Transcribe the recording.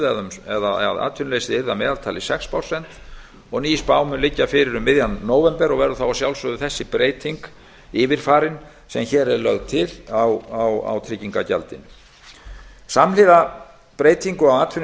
að atvinnuleysi yrði að meðaltali sex prósent og ný spá mun liggja fyrir um miðjan nóvember og verður þá að sjálfsögðu þessi breyting yfirfarin sem hér er lögð til á tryggingagjaldinu samhliða breytingunni á